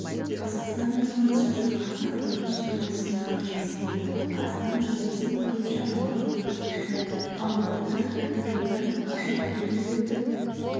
қазақстан азаматшасы қазақ-қырғыз шекарасында қайтыс болды астам жазасын өтеуші абақтыдан қашты алматыда каратэ-додан ашық турнир өтіп